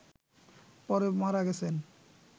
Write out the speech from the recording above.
পড়ে মারা গেছেন